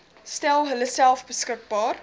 stel hulleself beskikbaar